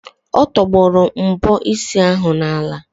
Ọ tọgbọrọ mbọ isi ahụ n'ala.